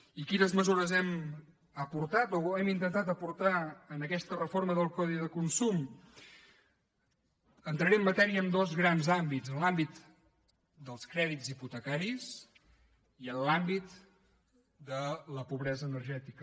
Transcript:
i quines mesures hem aportat o hem intentat aportar a aquesta reforma del codi de consum entraré en matèria en dos grans àmbits en l’àmbit dels crèdits hipotecaris i en l’àmbit de la pobresa energètica